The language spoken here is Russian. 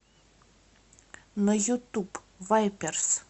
на ютуб вайперс